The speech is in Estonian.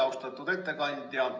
Austatud ettekandja!